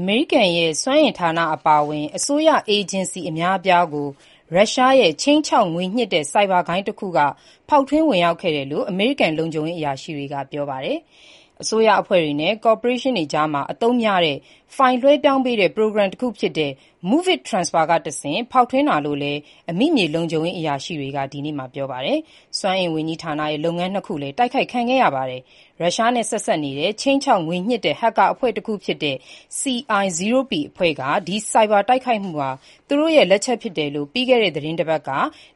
အမေရိကန်ရဲ့ စွမ်းအင်ဌာနအပါအဝင် အစိုးရအေဂျင်စီ အများအပြားကို ရုရှားရဲ့ ခြိမ်းခြောက် ငွေညှစ်တဲ့ ဆိုက်ဘာ ဂိုဏ်းတခုက ဖောက်ထွင်းဝင်ရောက်ခဲ့တယ်လို့ အမေရိကန်လုံခြုံရေး အရာရှိတွေက ပြောပါတယ်။ အစိုးရအဖွဲ့တွေနဲ့ ကော်ပိုရေးရှင်းတွေကြားမှာ အသုံးများတဲ့ ဖိုင်လွှဲပြောင်းတဲ့ ပရိုဂရမ်တခုဖြစ်တဲ့ MOVEit Transfer ကတဆင့် ဖောက်ထွင်းတာလို့လည်း အမိမြေလုံခြုံရေးအရာရှိတွေက ဒီနေ့မှာ ပြောပါတယ်။ စွမ်းအင်ဝန်ကြီးဌာနရဲ့ လုပ်ငန်းနှစ်ခုလည်း တိုက်ခိုက်ခံခဲ့ရပါတယ်။ ရုရှားနဲ့ ဆက်စပ်နေတဲ့ ခြိမ်းခြောက်ငွေညှစ်တဲ့ ဟက်ကာအဖွဲ့တခုဖြစ်တဲ့ CI0p အဖွဲ့က ဒီ ဆိုက်ဘာတိုက်ခိုက်မှုဟာ သူတို့ရဲ့ လက်ချက်ဖြစ်တယ်လို့ ပြီးခဲ့တဲ့ သီတင်းပတ်က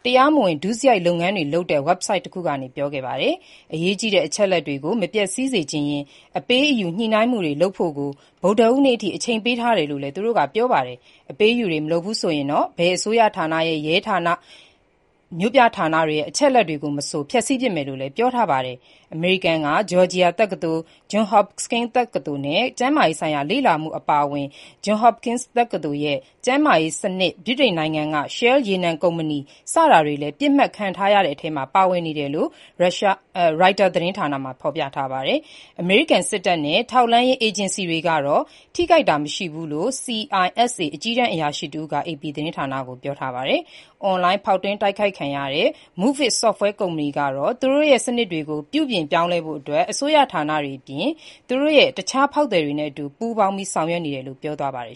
တရားမဝင်ဒုစရိုက်လုပ်ငန်းတွေလုပ်တဲ့ ဝဘ်ဆိုက်တခုကနေ ထုတ်ပြောခဲ့ပါတယ်။ အရေးကြီးတဲ့အချက်အလက်တွေကို မပျက်ဆီးစေချင်ရင် အပေးအယူညှိနှိုင်းမှုတွေလုပ်ဖို့ကို ဗုဒ္ဓဟူးနေ့အထိ အချိန်ပေးထားတယ်လို့လည်း သူတို့က ပြောပါတယ်။အပေးအယူ မလုပ်ဘူးဆိုရင်တော့ ဘယ်အစိုးရဌာန၊ ရဲဌာနဲ့ မြို့ပြဌာနတွေရဲ့ အချက်အလက်တွေကိုမဆို ဖျက်ဆီးပစ်မယ်လို့လည်းပြောထားပါတယ်။ အမေရိကန်က ဂျော်ဂျီယာတက္ကသိုလ်၊ Johns Hopkins တက္ကသိုလ်နဲ့ ကျန်းမာရေးဆိုင်ရာ လေ့လာမှုအပါအဝင် Johns Hopkins တက္ကသိုလ်ရဲ့ကျန်းမာရေးစနစ်၊ ဗြိတိန်နိုင်ငံက Shell ရေနံကုမ္ပဏီ စတာတွေလည်း ပစ်မှတ်ထားခံရတဲ့အထဲမှာ ပါဝင်နေတယ်လို့ Reuters သတင်းမှာ ဖော်ပြထားပါတယ်။ အမေရိကန်စစ်တပ်နဲ့ ထောက်လှမ်းရေးအေဂျင်စီတွေကတော့ ထိခိုက်ခံရတာ မရှိဘူးလို့ CISA အကြီးတန်းအရာရှိတဦးက အေပီသတင်းဌာနကို ပြောထားပါတယ်။ အွန်လိုင်းဖောက်ထွင်းတိုက်ခိုက်ခံရတဲ့ MOVEit software ကုမ္ပဏီကတော့ သူတို့ရဲ့ စနစ်တွေကို ပြုပြင်ဖို့ အစိုးရဌာနတွေအပြင် သူ့ရဲ့အခြားဖောက်သည်တွေရဲ့ အတူပူးပေါင်းဆောင်ရွက်နေတယ်လို့ ပြောပါတယ်